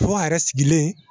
Kɔngɔ yɛrɛ sigilen